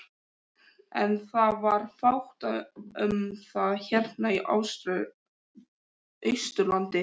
En það var fátt um það hérna á Austurlandi.